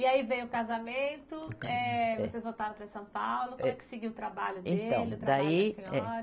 E aí veio o casamento, eh, vocês voltaram para São Paulo, como é que seguiu o trabalho dele, o trabalho da senhora?